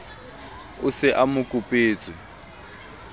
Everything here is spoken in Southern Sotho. o se a mo kopetswe